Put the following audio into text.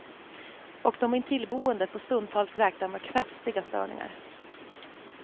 Och de intillboende får stundtals räkna med kraftiga störningar.